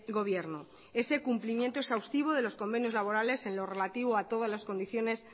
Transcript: gobierno ese cumplimiento exhaustivo de los convenios laborales en lo relativo a todas las condiciones